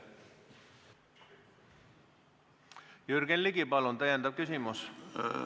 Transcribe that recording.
Jürgen Ligi, palun täpsustav küsimus!